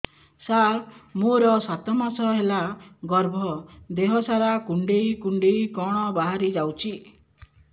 ସାର ମୋର ସାତ ମାସ ହେଲା ଗର୍ଭ ଦେହ ସାରା କୁଂଡେଇ କୁଂଡେଇ କଣ ବାହାରି ଯାଉଛି